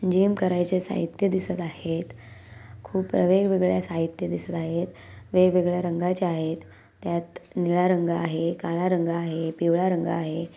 Gym करायचे साहित्य दिसत आहेत खूप वेगवेगळ्या साहित्य दिसत आहेत वेगवेगळ्या रंगाचे आहेत त्यात निळा रंग आहे काळा रंग आहे पिवळा रंग आहे.